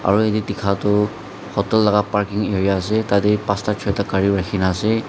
aru ete dekha toh hotel laga parking area ase tatey pastha choita gari rakhina ase.